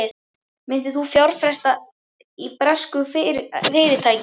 Myndir þú fjárfesta í bresku fyrirtæki?